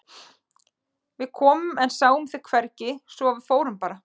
Við komum en sáum þig hvergi svo að við fórum bara.